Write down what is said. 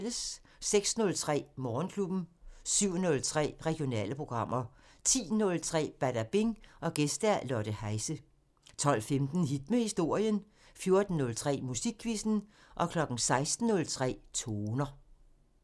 06:03: Morgenklubben 07:03: Regionale programmer 10:03: Badabing: Gæst Lotte Heise 12:15: Hit med historien 14:03: Musikquizzen 16:03: Toner